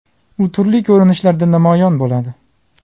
U turli ko‘rinishlarda namoyon bo‘ladi.